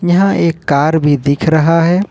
यह एक कार भी दिख रहा है।